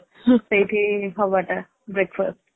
ସେଇଠି ହେବା ଟା breakfast